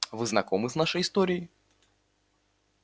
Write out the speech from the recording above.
вы знакомы с нашей историей